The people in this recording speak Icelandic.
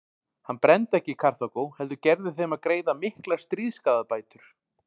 Hann brenndi ekki Karþagó heldur gerði þeim að greiða miklar stríðsskaðabætur.